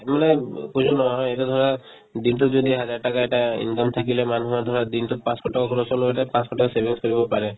মানে উব পইচা নহা হয় এতিয়া ধৰা দিনতো যদি একহাজাৰ টাকা এটা income থাকিলে মানুহৰ ধৰা দিনতোত পাঁচশ টকা খৰচ হ'ল হৈ এটা পাঁচশ টকা savings কৰিব পাৰে